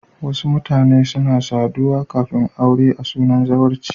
Wasu mutane suna saduwa kafin aure a sunan zawarci.